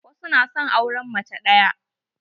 Wasu na son auren mace ɗaya.